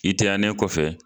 I taɲannen kɔfɛ